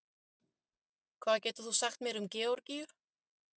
hvað getur þú sagt mér um georgíu